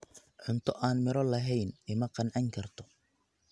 Cunto aan midho lahayni ima qancin karto.